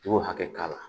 I b'o hakɛ k'a la